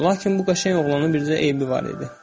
Lakin bu qəşəng oğlanın bircə eybi var idi.